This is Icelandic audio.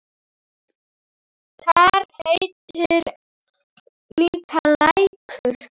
Þar heitir líka Lækur.